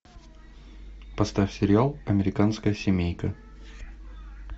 поставь сериал американская семейка